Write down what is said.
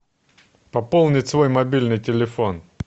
пополнить свой мобильный телефон